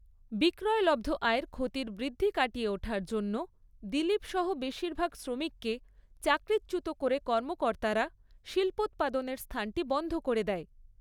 বিক্রয়লব্ধ আয়ের ক্ষতির বৃদ্ধি কাটিয়ে ওঠার জন্য দিলীপ সহ বেশিরভাগ শ্রমিককে চাকরিচ্যুত করে কর্মকর্তারা শিল্পোৎপাদনের স্থানটি বন্ধ করে দেয়।